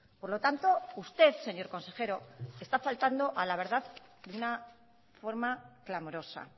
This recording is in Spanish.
por lo tanto usted señor consejero está faltando a la verdad de una forma clamorosa